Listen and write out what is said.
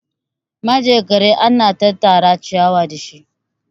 manjagara ana tattara ciyawa da shi